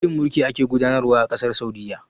Wane irin mulki a ke gudanarwa a ƙasar Saudiyya?